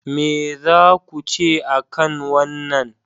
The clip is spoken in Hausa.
Me za ku ce a kan wannan?